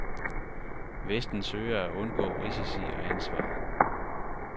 Vesten søger at undgå risici og ansvar.